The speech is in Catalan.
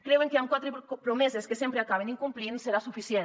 creuen que amb quatre promeses que sempre acaben incomplint serà suficient